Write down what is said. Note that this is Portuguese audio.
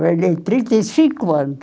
Trabalhei, trinta e cinco anos.